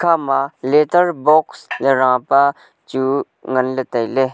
ama later box ley rapa chu nganley tailey.